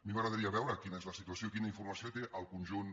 a mi m’agradaria veure quina és la situació i quina informació té el conjunt